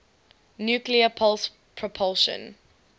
nuclear pulse propulsion